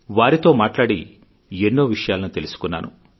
వారితో మాట్లాడి ఎన్నో విషయాలను తెలుసుకున్నాను